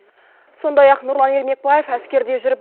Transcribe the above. сондай ақ нұрлан ермекбаев әскерде жүріп